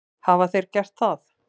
Hafa þeir gert það?